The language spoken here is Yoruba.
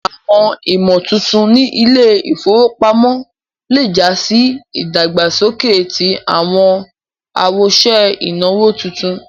Awọn ìmọ̀tuntun ní ilẹ̀-ifowópamọ̀ lẹ́ já sì ìdágbásọ̀kẹ̀ tí awọn awọṣẹ̀ inawo títùn.